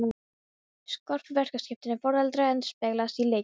Skörp verkaskipting foreldra endurspeglast í leikjum.